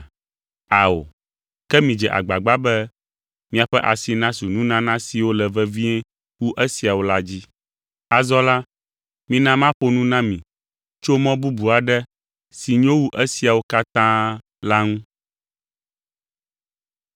Ao, ke midze agbagba be miaƒe asi nasu nunana siwo le vevie wu esiawo la dzi. Azɔ la, mina maƒo nu na mi tso mɔ bubu aɖe si nyo wu esiawo katã la ŋu.